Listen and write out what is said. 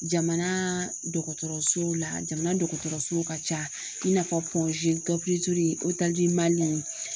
Jamana dɔgɔtɔrɔsow la jamana dɔgɔtɔrɔso ka ca i n'a fɔ